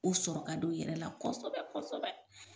O sɔrɔ ka d'u yɛrɛ la kɔsɔbɛ kɔsɔbɛ.